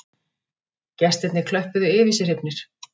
Gestirnir klöppuðu yfir sig hrifnir